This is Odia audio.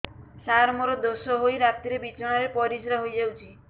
ସାର ମୋର ଦୋଷ ହୋଇ ରାତିରେ ବିଛଣାରେ ପରିସ୍ରା ହୋଇ ଯାଉଛି